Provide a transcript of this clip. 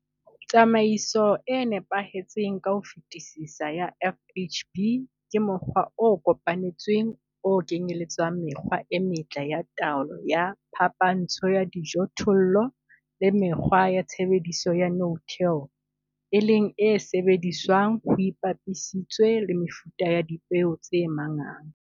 Tsamaiso e nepahetseng ka ho fetisisa ya FHB ke mokgwa o kopanetsweng, o kenyeletsang mekgwa e metle ya taolo ya phapantsho ya dijothollo le mekgwa ya tshebediso ya no-till, e leng e sebediswang ho ipapisitswe le mefuta ya dipeo tse manganga.